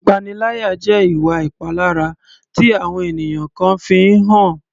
Ìpaniláyà jẹ́ ìwà ìpalára tí àwọn ènìyàn kan fi ń hàn.